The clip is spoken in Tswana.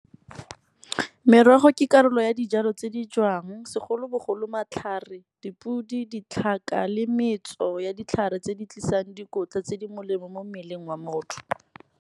Merogo ke karolo ya dijalo tse di jewang segolobogolo matlhare, dipudi, ditlhaka le metso ya ditlhare tse di tlisang dikotla, tse di molemo mo mmeleng wa motho.